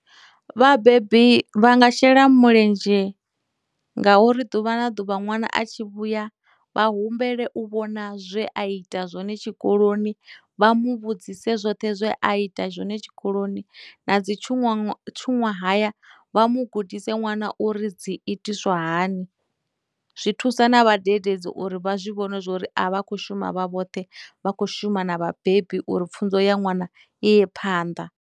Vhabebi vha nga shela mulenzhe ngauri ḓuvha na ḓuvha ṅwana a tshi vhuya vha humbele u vhona zwe a ita zwone tshikoloni, vha mu vhudzise zwoṱhe zwe a ita zwone tshikoloni, na dzi tshuṅwaṅwa, tshuṅwahaya vha mu gudise ṅwana uri dzi itiswa hani. Zwi thusa na vhadededzi uri vha zwi vhone zwori a vha khou shuma vha vhoṱhe vha khou shuma na vhabebi uri pfhunzo ya ṅwana i ye phanḓa.